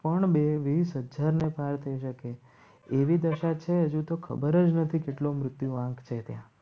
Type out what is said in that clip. પણ બે હજાર થઈ શકે એવી દશા છે હજુ તો ખબર જ નથી કેટલો મૃત્યુ વાંક છે ત્યાં